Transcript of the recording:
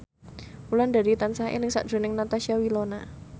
Wulandari tansah eling sakjroning Natasha Wilona